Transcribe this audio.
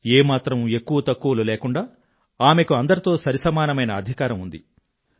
ఏ మాత్రం ఎక్కువ తక్కువలు లేకుండా ఆమెకు అందరితో సరిసమానమైన అధికారం ఉంది